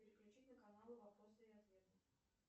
переключить на канал вопросы и ответы